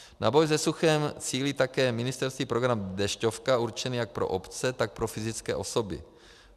Na boj se suchem cílí také ministerský program Dešťovka určený jak pro obce, tak pro fyzické osoby.